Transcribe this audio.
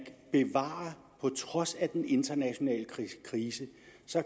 på trods af den internationale krise